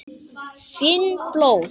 Finn blóð.